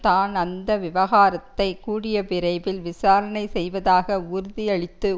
தான் அந்த விவகாரத்தை கூடிய விரைவில் விசாரணை செய்வதாக உறுதியளித்து